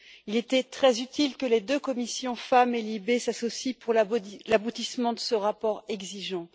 Il était très utile que les deux commissions FEMM et LIBE s'associent pour l'aboutissement de ce rapport exigeant.